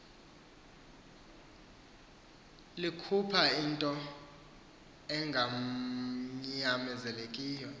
likhupha into enganyamezelekiyo